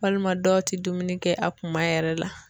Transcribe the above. Walima dɔw tɛ dumuni kɛ a kuma yɛrɛ la.